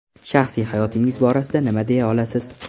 Shaxsiy hayotingiz borasida nima deya olasiz?